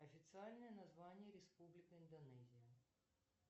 официальное название республика индонезия